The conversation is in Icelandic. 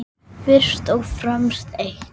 Fyrst og fremst eitt.